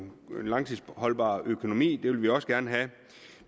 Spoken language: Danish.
langtidsholdbar økonomi vil vi også gerne have